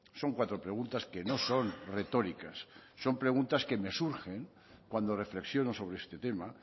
son cuatro preguntas que no son retóricas son preguntas que me surgen cuando reflexiono sobre este tema